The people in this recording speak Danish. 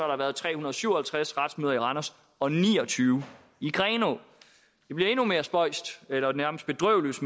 der været tre hundrede og syv og halvtreds retsmøder i randers og ni og tyve i grenaa det bliver endnu mere spøjst eller nærmest bedrøveligt